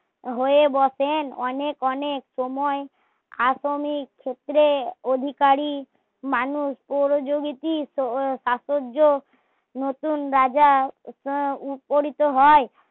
হয়ে বসেন অনেক অনেক সময় প্রাথমিক ক্ষেত্রে অধিকারী মানুষ পরিযোগীতি প্রাচুয্য নতুন রাজার ওপলিত হয়